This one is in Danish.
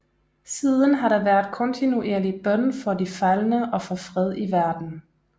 Siden har der været kontinuerlig bøn for de faldne og for fred i verden